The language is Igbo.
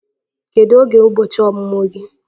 Kedu oge bụ ụbọchị ọmụmụ gị?